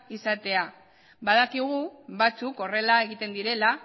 izatea badakigu batzuk horrela egiten direla